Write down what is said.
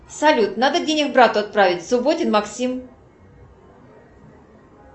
салют надо денег брату отправить субботин максим